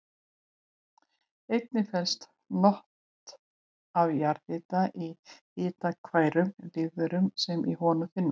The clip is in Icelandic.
Einnig felast not af jarðhita í hitakærum lífverum sem í honum finnast.